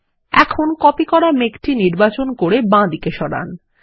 এখন কপি করা মেঘটি নির্বাচন করে বাঁদিকে সরান